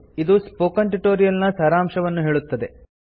ಇದು spoken tutorial ನ ಸಾರಾಂಶವನ್ನು ಹೇಳುತ್ತದೆ